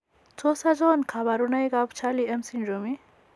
Tos achon kabarunaik Charlie M syndrome ?